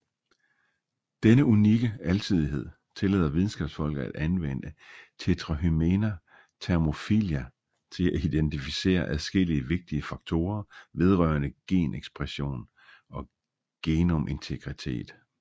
Denne unikke alsidighed tillader videnskabsfolk til at anvende Tetrahymena thermophila til at identificere adskillige vigtige faktorer vedrørende genekspression og genomintegritet